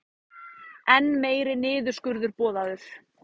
Enn meiri niðurskurður boðaður